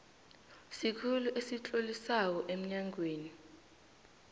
sikhulu esitlolisako emnyangweni